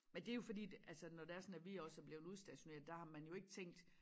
Men det jo fordi det altså når det er sådan at vi også er blevet udstationeret der har man jo ikke tænkt